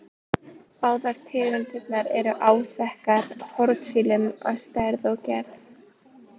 Báðar tegundirnar eru áþekkar hornsílum að stærð og gerð.